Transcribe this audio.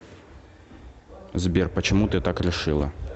сбер почему ты так решила